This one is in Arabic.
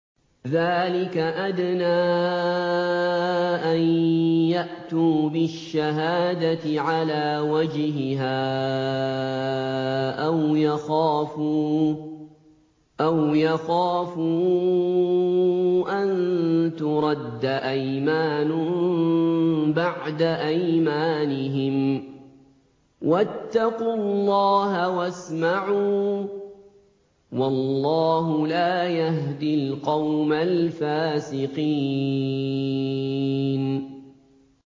ذَٰلِكَ أَدْنَىٰ أَن يَأْتُوا بِالشَّهَادَةِ عَلَىٰ وَجْهِهَا أَوْ يَخَافُوا أَن تُرَدَّ أَيْمَانٌ بَعْدَ أَيْمَانِهِمْ ۗ وَاتَّقُوا اللَّهَ وَاسْمَعُوا ۗ وَاللَّهُ لَا يَهْدِي الْقَوْمَ الْفَاسِقِينَ